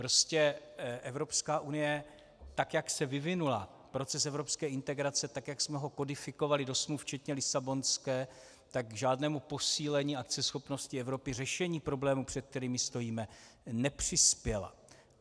Prostě Evropská unie, tak jak se vyvinula, proces evropské integrace, tak jak jsme ho kodifikovali do smluv, včetně Lisabonské, k žádnému posílení akceschopnosti Evropy, řešení problémů, před kterými stojíme, nepřispěla.